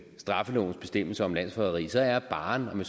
straffelovens bestemmelser om landsforræderi så er barren om